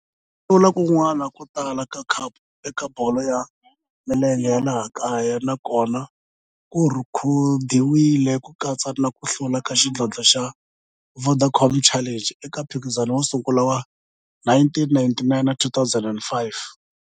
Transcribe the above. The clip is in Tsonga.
Ku hlula kun'wana ko tala ka khapu eka bolo ya milenge ya laha kaya na kona ku rhekhodiwile, ku katsa na ku hlula ka xidlodlo xa Vodacom Challenge eka mphikizano wo sungula wa 1999 na 2005.